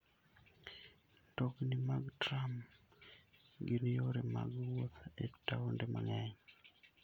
Mtokni mag tram gin yore mag wuoth e taonde mang'eny.